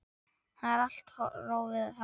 Það er allt rófið þarna.